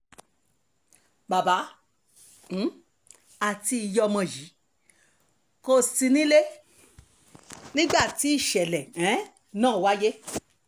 bàbá um àti ìyá ọmọ yìí kò sí nílé nígbà tí ìṣẹ̀lẹ̀ um ná wáyé